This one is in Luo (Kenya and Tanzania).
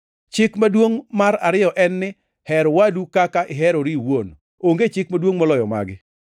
Chik maduongʼ mar ariyo en ni, ‘Her wadu kaka iherori iwuon.’ + 12:31 \+xt Lawi 19:18\+xt* Onge chik maduongʼ moloyo magi.”